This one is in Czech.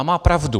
A má pravdu.